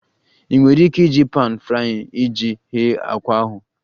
Ị nwere ike iji pan frying iji ghee àkwá ahụ